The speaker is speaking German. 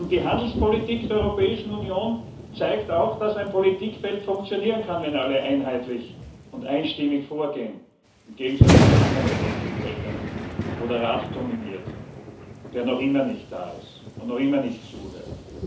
Die Handelspolitik der Europäischen Union zeigt auch, dass ein Politikfeld funktionieren kann, wenn alle einheitlich und einstimmig vorgehen im Gegensatz zu anderen Politikfeldern, in denen der Rat dominiert, der noch immer nicht da ist und noch immer nicht zuhört.